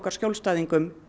skjólstæðingum